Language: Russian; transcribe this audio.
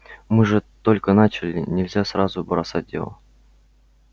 мы же только начали нельзя сразу бросать дело